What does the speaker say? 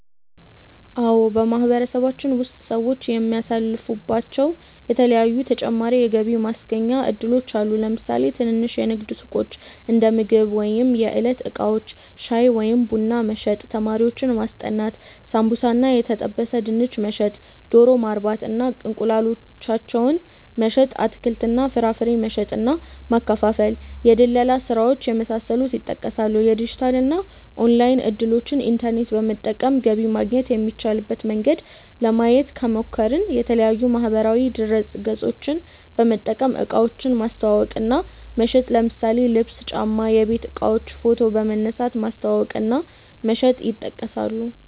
አዎ በማህበረሰባችን ውስጥ ሰዎች የሚሳተፉባቸዉ የተለያዪ ተጨማሪ የገቢ ማስገኛ እድሎች አሉ። ለምሳሌ ትንንሽ የንግድ ሱቆች(እንደምግብ ወይም የዕለት እቃዎች) ፣ ሻይ ወይም ቡና መሸጥ፣ ተማሪዎችን ማስጠናት፣ ሳምቡሳ እና የተጠበሰ ድንች መሸጥ፣ ዶሮ ማርባት እና እንቁላላቸውን መሸጥ፣ አትክልት እና ፍራፍሬ መሸጥ እና ማከፋፈል፣ የድለላ ስራዎች የመሳሰሉት ይጠቀሳሉ። የዲጂታል እና ኦንላይን እድሎችን( ኢንተርኔት በመጠቀም ገቢ ማግኘት የሚቻልበት መንገድ) ለማየት ከሞከርን፦ የተለያዪ ማህበራዊ ድረገፆችን በመጠቀም እቃዎችን ማስተዋወቅ እና መሸጥ ለምሳሌ ልብስ፣ ጫማ፣ የቤት እቃዎችን ፎቶ በመንሳት ማስተዋወቅ እና መሸጥ ይጠቀሳሉ።